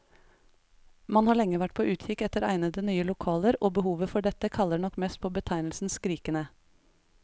Man har lenge vært på utkikk etter egnede, nye lokaler, og behovet for dette kaller nok mest på betegnelsen skrikende.